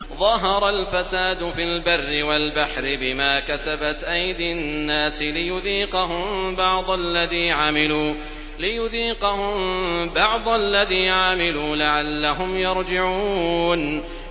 ظَهَرَ الْفَسَادُ فِي الْبَرِّ وَالْبَحْرِ بِمَا كَسَبَتْ أَيْدِي النَّاسِ لِيُذِيقَهُم بَعْضَ الَّذِي عَمِلُوا لَعَلَّهُمْ يَرْجِعُونَ